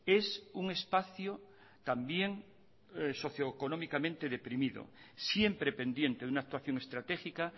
es un espacio también socio económicamente deprimido siempre pendiente de una actuación estratégica